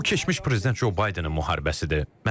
Bu keçmiş prezident Co Baydenin müharibəsidir.